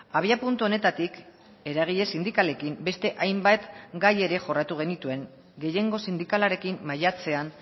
abiapuntu honetatik eragile sindikalekin beste hainbat gai ere jorratu genituen gehiengo sindikalarekin maiatzean